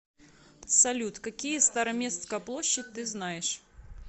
салют какие староместская площадь ты знаешь